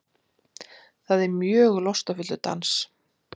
Það er mjög lostafullur dans.